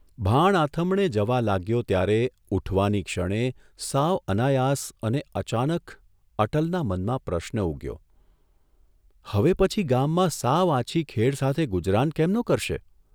ભાણ આથમણે જવા લાગ્યો ત્યારે ઊઠવાની ક્ષણે, સાવ અનાયાસ અને અચાનક અટલના મનમાં પ્રશ્ન ઊગ્યોઃ ' હવે પછી ગામમાં સાવ આછી ખેડ સાથે ગુજરાન કેમનો કરશે?